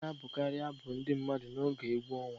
A na-abụkarị abụ ndị mmadụ n'oge egwu ọnwa